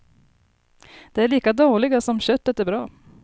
De är lika dåliga som köttet är bra.